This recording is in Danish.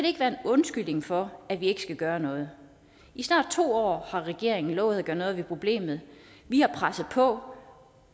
ikke være en undskyldning for at vi ikke gør noget i snart to år har regeringen lovet at gøre noget ved problemet vi har presset på